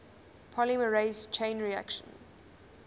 polymerase chain reaction